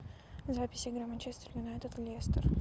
запись игры манчестер юнайтед лестер